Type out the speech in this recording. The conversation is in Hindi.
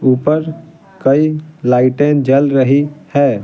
ऊपर कई लाइटें जल रही है।